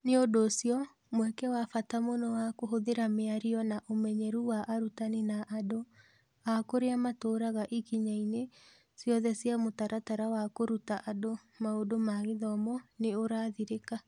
Nĩ ũndũ ũcio, mweke wa bata mũno wa kũhũthĩra mĩario na ũmenyeru wa arutani na andũ a kũrĩa matũũraga ikinya-inĩ ciothe cia mũtaratara wa kũruta andũ maũndũ ma gĩthomo nĩ ũrathirĩka.